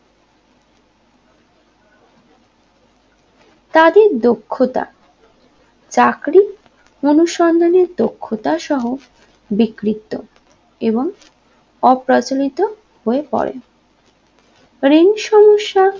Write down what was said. তাদের দক্ষতা চাকরী অনুসন্ধানের দক্ষতার সহ বিকৃত এবং অপ্রচলিত হয়ে পরে রেঞ্জ সমস্যা